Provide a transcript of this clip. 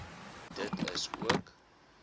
dit is ook